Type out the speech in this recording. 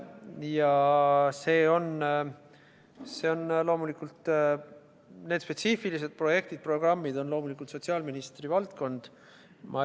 Ja see on, loomulikult need spetsiifilised projektid-programmid, sotsiaalministri valdkond.